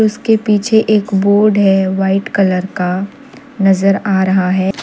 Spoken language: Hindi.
उसके पीछे एक बोर्ड है वाइट कलर का नजर आ रहा है।